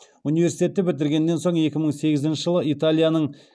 университетті бітіргеннен соң екі мың сегізінші жылы италияның